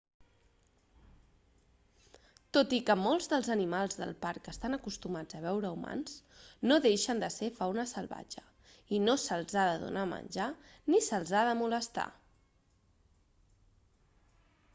tot i que molts dels animals del parc estan acostumats a veure humans no deixen de ser fauna salvatge i no se'ls ha de donar menjar ni se'ls ha de molestar